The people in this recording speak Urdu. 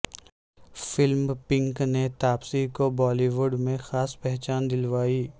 فلم پنک نے تاپسی کو بالی وڈ میں خاص پہچان دلوائی